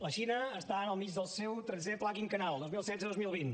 la xina està al mig del seu tretzè pla quinquennal dos mil setze dos mil vint